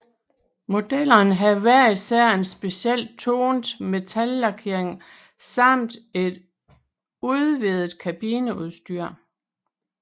Modellerne havde hver især en speciel tonet metalliclakering samt et udvidet kabineudstyr